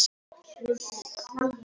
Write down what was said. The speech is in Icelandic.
Þjóðtrú verða gerð ítarleg skil síðar.